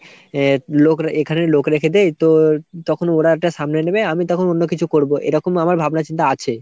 আ লোক এখানে লোক রেখে দেই তো তোর তখন ওরা এটা সামলে নেবে আমি তখন অন্য কিছু করবো এরকম আমার ভাবনা চিন্তা আছে।